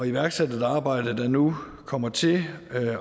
iværksat et arbejde der nu kommer til at